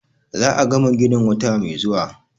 Za a gama ginin wata mai zuwa.